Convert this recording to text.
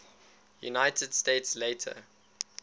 united states later